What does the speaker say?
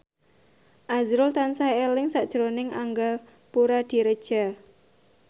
azrul tansah eling sakjroning Angga Puradiredja